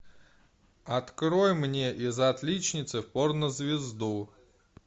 открой мне из отличницы в порнозвезду